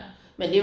Ja